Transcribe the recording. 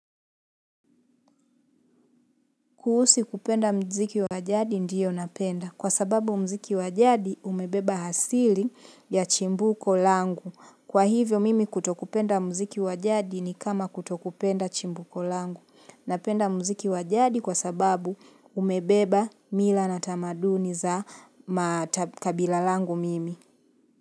Kuhusi kupenda mziki wa jadi ndiyo napenda. Kwa sababu muziki wajadi umebeba asili ya chimbuko langu. Kwa hivyo mimi kutokupenda muziki wa jadi ni kama kutokupenda chimbuko langu. Napenda muziki wa jadi kwa sababu umebeba mila na tamaduni za kabila langu mimi.